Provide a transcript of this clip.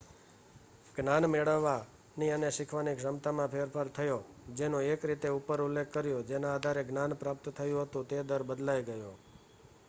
જ્ઞાન મેળવવાની અને શીખવાની ક્ષમતામાં ફેરફાર થયો જેનો એક રીતે ઉપર ઉલ્લેખ કર્યો ,જેના આધારે જ્ઞાન પ્રાપ્ત થયું હતું તે દર બદલાઈ ગયો